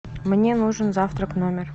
мне нужен завтрак в номер